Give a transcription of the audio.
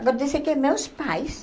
Acontece que meus pais,